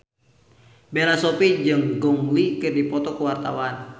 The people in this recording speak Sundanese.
Bella Shofie jeung Gong Li keur dipoto ku wartawan